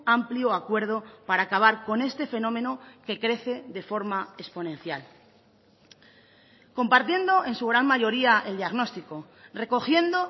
amplio acuerdo para acabar con este fenómeno que crece de forma exponencial compartiendo en su gran mayoría el diagnóstico recogiendo